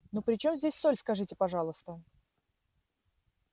ну при чем здесь соль скажите пожалуйста